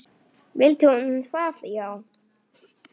Vildi hún það já?